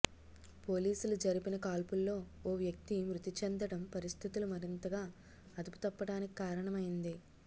పోలీసులు జరిపిన కాల్పుల్లో ఓ వ్యక్తి మృతిచెందడం పరిస్థితులు మరింతగా అదుపుతప్పడానికి కారణమైంది